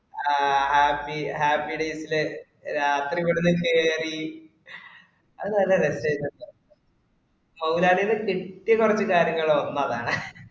ആഹ് അഹ് happy happy days ല് രാത്രീ ഇവിട്ന് കേറി ഹെയ് അത് നല്ല റാസയ്‌നുട്ടോ മോഹലാലിന്റെ set പറഞ്ഞ കാര്യങ്ങള് ഒന്ന് അതാണേ.